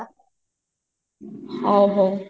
ହ ହଉ